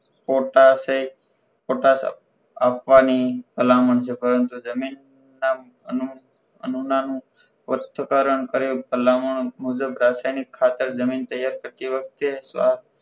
ફોટાસે ફોટા આપવાની ભલામણ છે પરંતુ જમીન આનું નાનું સ્પષ્ટ કારણ કરે ભલામણ મુજબ રાસાયણિક ખાતર જમીન તૈયાર કરતી વખતે સ